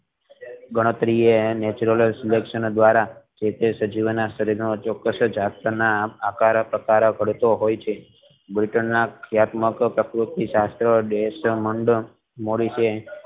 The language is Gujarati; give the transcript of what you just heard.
ગણતરી એ national સુરક્ષણ ધ્વરા સજીવો ના શરીર માં ચોક્સ જાતના આકારો પ્રકારો પડતો હોય છે britain ના